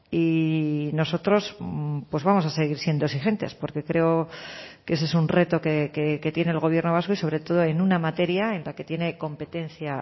y nosotros vamos a seguir siendo exigentes porque creo que ese es un reto que tiene el gobierno vasco y sobre todo en una materia en la que tiene competencia